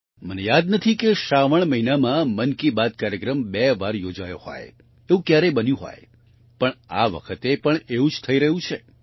મને યાદ નથી કે શ્રાવન મહિનામાં મન કી બાત કાર્યક્રમ બે વાર યોજાયો હોય એવું ક્યારેય બન્યું હોય પણઆ વખતે પણ એવું જ થઈ રહ્યું છે